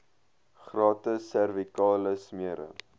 gratis servikale smere